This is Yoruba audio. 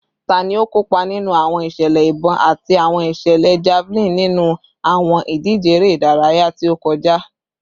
Tani o kopa ninu awọn iṣẹlẹ ibọn ati awọn iṣẹlẹ javelin ninu awọn idije ere idaraya ti o kọja?